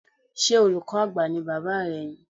Ṣé olùkọ́ Àgbà ní Bàbá rẹ ni?